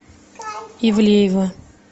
ивлеева